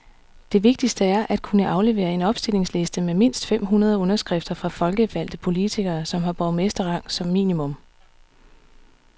Det vigtigste er at kunne aflevere en opstillingsliste med mindst fem hundrede underskrifter fra folkevalgte politikere, som har borgmesterrang som minimum.